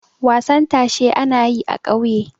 wasan tashe ana yi a ƙauye